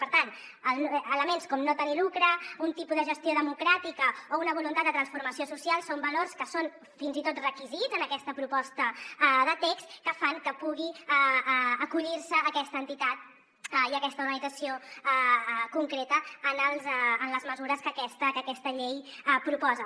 per tant elements com no tenir lucre un tipus de gestió democràtica o una voluntat de transformació social són valors que són fins i tot requisits en aquesta proposta de text que fan que pugui acollir se aquesta entitat i aquesta organització concreta en les mesures que aquesta llei proposa